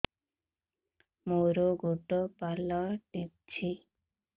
ମୋର ଗୋଡ଼ ପାଲଟିଛି